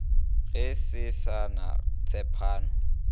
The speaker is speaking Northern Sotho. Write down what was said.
go se sa na tshepano